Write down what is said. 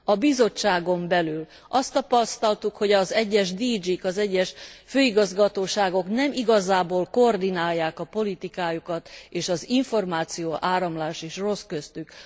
A Bizottságon belül azt tapasztaltuk, hogy az egyes DG k, az egyes főigazgatóságok nem igazából koordinálják a politikájukat, és az információáramlás is rossz köztük.